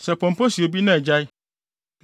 “Sɛ pɔmpɔ si obi na agyae